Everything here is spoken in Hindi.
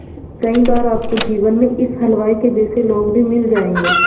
कई बार आपको जीवन में इस हलवाई के जैसे लोग भी मिल जाएंगे